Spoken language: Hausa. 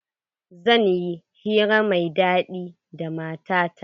Zan yi hira mai daɗi da matata.